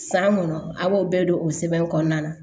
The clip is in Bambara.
San kɔnɔ a' b'o bɛɛ don o sɛbɛn kɔnɔna na